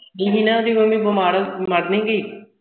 ਸ਼ੀਨਾ ਉਸ ਦੀ ਮੰਮੀ ਬਿਮਾਰ ਮਰ ਨਹੀਂ ਗਈ